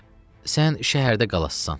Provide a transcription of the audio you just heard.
Bahar, sən şəhərdə qalasan.